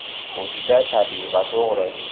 bu juda tabiiy va to‘g‘ri.